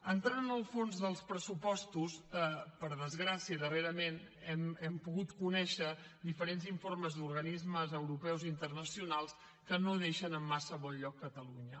entrant en el fons dels pressupostos per desgràcia darrerament hem pogut conèixer diferents informes d’organismes europeus internacionals que no deixen en massa bon lloc catalunya